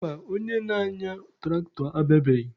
Mba, onye na-anya tụraktọ abịabeghị